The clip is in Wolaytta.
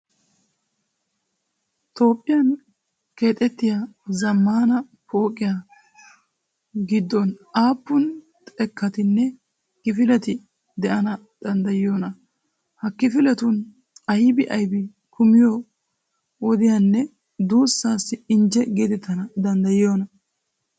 Toophphiyan keexettiya zammaana pooqiya giddon aappun xekkatinne kifileti de'ana danddayiyoonaa? Ha kifiletun aybi aybi kumiyo wodiyanee duussaassi injje geetettana danddayiyoy?